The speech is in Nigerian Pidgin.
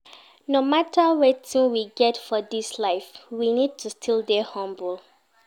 No matter wetin we get for this life, we need to still dey humble